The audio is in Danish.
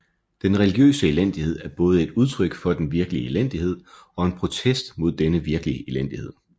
Den religiøse elendighed er både et udtryk for den virkelige elendighed og en protest mod denne virkelige elendighed